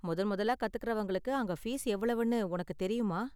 முதன்முதலா கத்துகிறவங்களுக்கு அங்க ஃபீஸ் எவ்வளவுன்னு உனக்கு தெரியுமா?